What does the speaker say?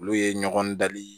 Olu ye ɲɔgɔn dali ye